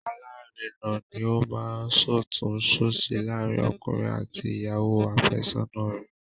Alárinà ni ó máa ń ṣọ̀tún-ṣòsì láàárín ọkùnrin àti ìyàwó àfẹ́sọ́nà rẹ̀